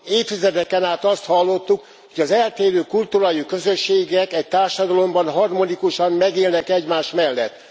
Évtizedeken át azt hallottuk, hogy az eltérő kultúrájú közösségek egy társadalomban harmonikusan megélnek egymás mellett.